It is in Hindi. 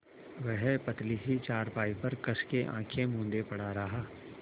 वह पतली सी चारपाई पर कस के आँखें मूँदे पड़ा रहा